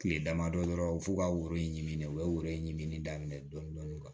Kile damadɔ dɔrɔn f'u ka woro in ɲinini u ye woro in ɲinini daminɛ dɔɔnin dɔɔnin